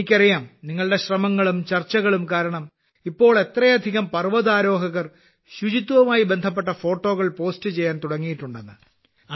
എനിക്കറിയാം നിങ്ങളുടെ ശ്രമങ്ങളും ചർച്ചകളും കാരണം ഇപ്പോൾ എത്രയധികം പർവതാരോഹകർ ശുചിത്വവുമായി ബന്ധപ്പെട്ട ഫോട്ടോകൾ പോസ്റ്റ് ചെയ്യാൻ തുടങ്ങിയിട്ടുണ്ടെന്ന്